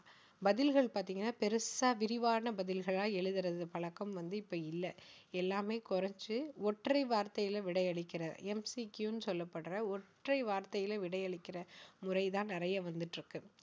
பதில்கள் பார்த்தீங்கன்னா பெருசா விரிவான பதில்களா எழுதுறது பழக்கம் வந்து இப்ப இல்ல எல்லாமே குறைச்சு ஒற்றை வார்த்தையில விடை அளிக்கிற MCQ னு சொல்லப்படற ஒற்றை வார்த்தையில விடை அளிக்கிற முறை தான் நிறைய வந்திட்டிருக்கு